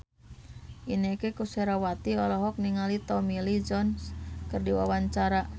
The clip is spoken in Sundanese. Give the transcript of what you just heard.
Inneke Koesherawati olohok ningali Tommy Lee Jones keur diwawancara